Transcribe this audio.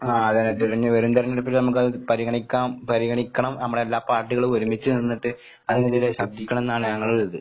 ആഹ് അതെ അതെ. തിരഞ് ഇനി വരും തെരഞ്ഞെടുപ്പിൽ നമുക്കത് പരിഗണിക്കാം പരിഗണിക്കണം. നമ്മളെല്ലാ പാർട്ടികളും ഒരുമിച്ച് നിന്നിട്ട് അതിനെതിരെ ശബ്‌ദിക്കണംന്നാണ് ഞങ്ങടെ ഒരിത്.